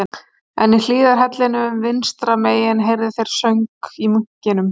En í hliðarhellinum vinstra megin heyrðu þeir söng í munkinum